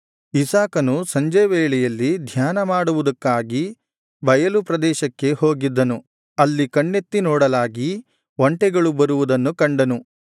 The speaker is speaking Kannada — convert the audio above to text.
ಇಸಾಕನು ಸಂಜೆ ವೇಳೆಯಲ್ಲಿ ಧ್ಯಾನ ಮಾಡುವುದಕ್ಕಾಗಿ ಬಯಲು ಪ್ರದೇಶಕ್ಕೆ ಹೋಗಿದ್ದನು ಅಲ್ಲಿ ಕಣ್ಣೆತ್ತಿ ನೋಡಲಾಗಿ ಒಂಟೆಗಳು ಬರುವುದನ್ನು ಕಂಡನು